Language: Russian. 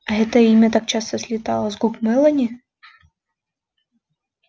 а это имя так часто слетало с губ мелани